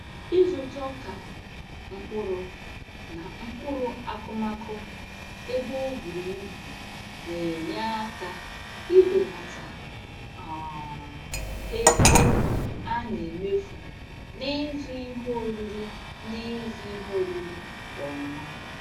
Ịzụta ọka, mkpụrụ, na mkpụrụ akụmakụ ebe o bùrù ibù na-enye aka ibelata um ego a na-emefu n'ịzụ ihe oriri n'ịzụ ihe oriri kwa ọnwa.